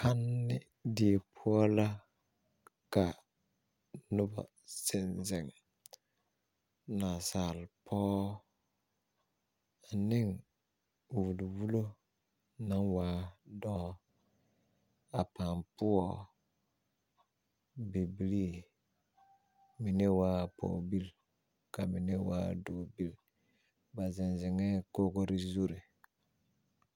Kanne die poɔ la ka noba zeŋ zeŋ nasaalpɔgɔ ane o wulwulo naŋ waa dɔɔ a paa poɔ bibilii mine waa bipɔgebil ka mine waa dɔɔbil ba zeŋ zeŋɛɛ kogre zure